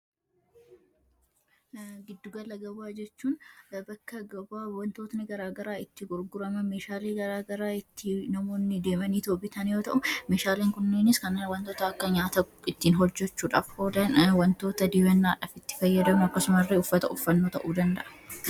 giddugala gabaa jechuun bakka gabaa wantootni garaagaraa itti gurguraman, meeshaalee garaagaraa itti namoonni deemaniitoo bitaan yoo ta'u meeshaaleen kunniinis kanneen akka nyaata ittiin hojjechuudhaaf oolan, wantoota dibannaadhaaf itti fayyadamnu, akkasuma illee uffata ta'uu danda'a.